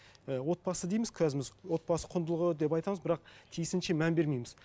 і отбасы дейміз отбасы құндылығы деп айтамыз бірақ тиісінше мән бермейміз